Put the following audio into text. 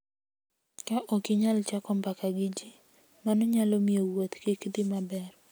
Ka ok inyal chako mbaka gi ji, mano nyalo miyo wuoth kik dhi maber.